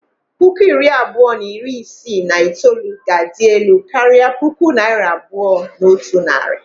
Puku abụọ na iri isii na itoolu ga-adị elu karịa puku naira abụọ na otu narị.